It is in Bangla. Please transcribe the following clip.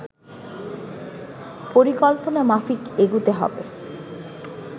পরিকল্পনা মাফিক এগুতে হবে